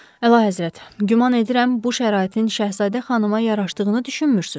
Əlahəzrət, güman edirəm bu şəraitin Şəhzadə xanıma yaraşdığını düşünmürsüz.